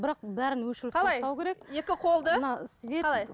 бірақ бәрін өшіріп тастау керек екі қолды